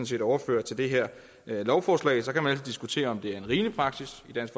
set overfører til det her lovforslag så kan man diskutere om det er en rimelig praksis i dansk